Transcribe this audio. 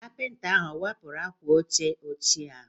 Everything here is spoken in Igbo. Kapịnta ahụ o wepụrụ akwa oche ochie ahụ?